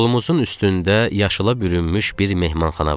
Yolumuzun üstündə yaşıla bürünmüş bir mehmanxana vardı.